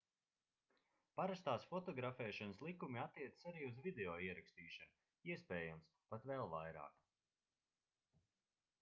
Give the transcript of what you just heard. parastās fotografēšanas likumi attiecas arī uz video ierakstīšanu iespējams pat vēl vairāk